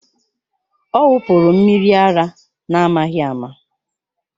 Ọ wụpụrụ mmiri ara n'amaghị ama